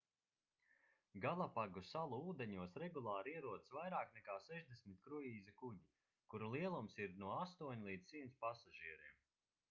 galapagu salu ūdeņos regulāri ierodas vairāk nekā 60 kruīza kuģi kuru lielums ir no 8 līdz 100 pasažieriem